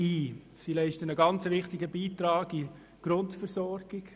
Diese leistet einen sehr wichtigen Beitrag an die Grundversorgung.